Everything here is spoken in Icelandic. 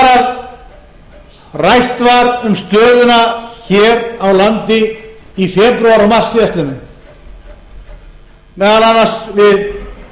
þegar rætt var um stöðuna hér á landi í febrúar og mars síðastliðnum meðal annars við